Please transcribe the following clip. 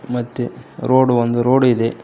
ಮತ್ತೆ ರೋಡ್ ಒಂದು ರೋಡ್ ಇದೆ.